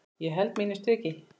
Ég held mínu striki.